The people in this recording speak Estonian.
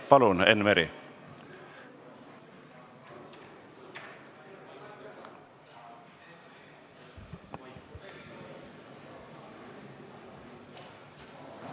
Palun, Enn Meri!